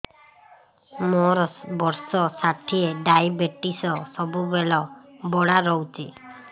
ମୋର ବର୍ଷ ଷାଠିଏ ଡାଏବେଟିସ ସବୁବେଳ ବଢ଼ା ରହୁଛି